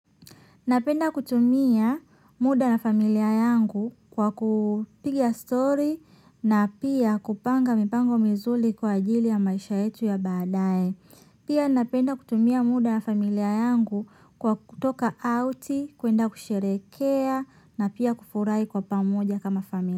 Napenda kutumia muda ja rafiki yangu kwa kupiga story na pia kupanga mipango mizuri kwa ajili ya maisha yetu ya baadaye. Pia napenda kutumia muda na familia yangu kwa kutoka out, kuenda kusherehekea na pia kufurahi kwa pamoja kama familia.